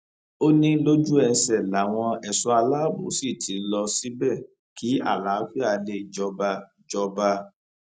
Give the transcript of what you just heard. ó ní lójú ẹsẹ làwọn ẹṣọ aláàbò sì ti lọ síbẹ kí àlàáfíà lè jọba jọba